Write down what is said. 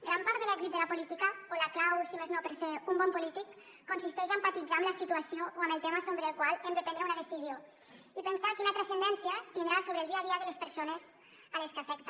gran part de l’èxit de la política o la clau si més no per ser un bon polític consisteix a empatitzar amb la situació o amb el tema sobre el qual hem de prendre una decisió i pensar quina transcendència tindrà sobre el dia a dia de les persones a les quals afecta